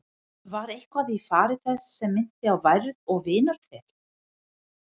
Var eitthvað í fari þess sem minnti á værð og vinarþel?